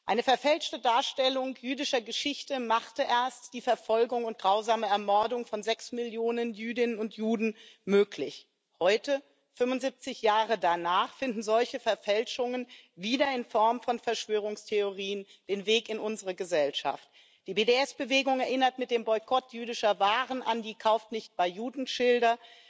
Eine verfälschte Darstellung jüdischer Geschichte machte erst die Verfolgung und grausame Ermordung von sechs Millionen Jüdinnen und Juden möglich. Heute, 75 Jahre danach, finden solche Verfälschungen wieder in Form von Verschwörungstheorien den Weg in unsere Gesellschaft. Die BDS Bewegung erinnert mit dem Boykott jüdischer Waren an die Kauft nicht bei Juden Schilder.